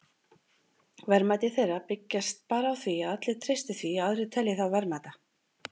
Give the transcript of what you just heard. Verðmæti þeirra byggist bara á því að allir treysti því að aðrir telji þá verðmæta.